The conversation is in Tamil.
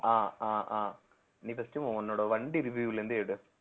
ஆஹ் அஹ் ஆஹ் நீ first உ உன்னோட வண்டி review ல இருந்து எடு